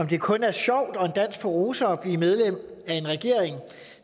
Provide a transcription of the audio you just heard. det kun er sjovt og en dans på roser at blive medlem af en regering